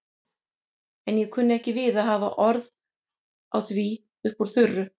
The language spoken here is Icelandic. En ég kunni ekki við að hafa orð á því upp úr þurru.